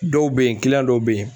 Dɔw be yen dɔw be yen